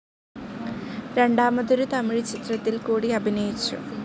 രണ്ടാമതൊരു തമിഴുചിത്രത്തിൽ കൂടി അഭിനയിച്ചു.